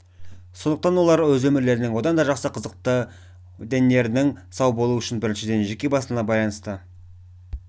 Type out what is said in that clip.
сондықтан олар өз өмірлерінің одан да жақсы қызықты дендерінің сау болуы үшін біріншіден жеке басына байланысты